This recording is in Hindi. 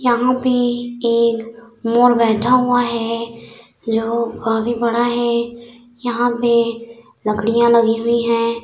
यहाँ पे एक मोर बैठा हुआ है जो काफी बड़ा है यहाँ पे लकड़ियाँ लगी हुई है।